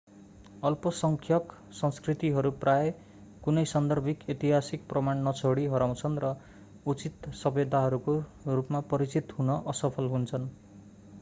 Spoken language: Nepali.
अल्पसङ्ख्यक संस्कृतिहरू प्राय कुनै सान्दर्भिक ऐतिहासिक प्रमाण नछोडी हराउँछन् र उचित सभ्यताहरूको रूपमा परिचित हुन असफल हुन्छन्